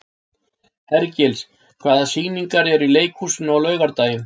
Hergils, hvaða sýningar eru í leikhúsinu á laugardaginn?